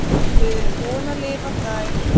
Við erum búin að lifa þær.